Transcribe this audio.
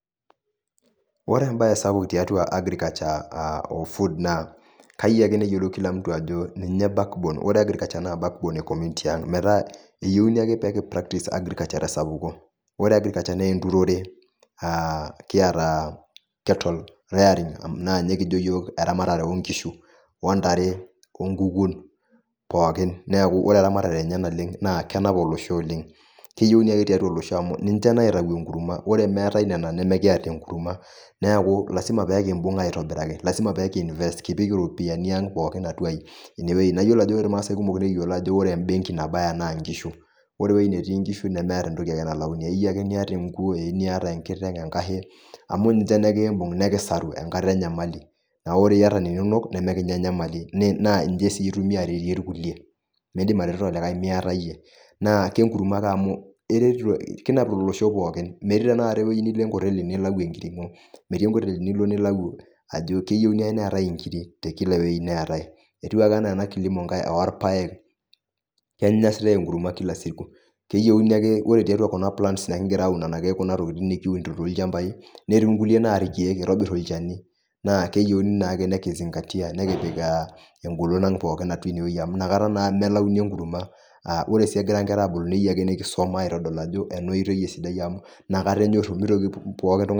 Ore embae sapuk tiatua agriculture o food naa kayieu ake neyiolou kila mtu ajo ninye back borne . Ore agriculture naa back borne e community ang. Metaa eyiuni ake pekipractise agriculture te sapuko . Ore agriculture naa enturore , aa kiata cattle rearing naa ninye kijo yiook eramatare oonkishu , ontare , okukun pookin ,niaku ore eramatare enye naleng naa kenap olosho oleng, keyieuni ake tiatua olosho amu ninche naitayu enkurma , ore meetae nena , nemikiata enkurma . Niaku lasima peekimbung aitobiraki, lasima pe kinvest kipik iropiyiani aang pooki atua , atua ine wuei. Na iyiolo ajo ore irmaase kumok na keyiolo ajo ore embenki nabaya naa nkishu . Ore ewuei netii nkishu nemeeta ae toki nalayuni eniata enkuo, enkteng, enkashe amu ninche nikimbung nikisaru enkata enyamali . Niaku ore iyata ninok nemikinya enyamali naa nche sii itumie aretie irkulie ,mindim atareto olikae miata iyie. naa kenkurma eret , amu kinap olosho pookin , metii tenakata ewuei nilo enkoteli nilayu enkiringo , metii enkoteli nilo ninepu ajo keyieuni ake neetae inkiri te kila ewuei neetae . Etiu ake enaa ena kilimo orpaek , kenyae siniche enkurma kila siku. Keyieuni ake ore tiatua kuna plans nekingira aun kuna tokitin nekiunito tolchambai , netii nkulie naa irkiek, eitobir olchani naa keyieuni naake nekizingatia , nekipir a engolon ang atua ine wueji amu inakata naa melayuni enkurma . Aa ore ake egira nkera abulu , neyieu ake nekisuma aitodolu ajo ena oitoi esidai amu inakata enyoru mitoki pooki ngae .